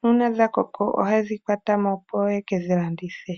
nuuna dhakoko ohaye dhikwatamo opo yeke dhilandithe.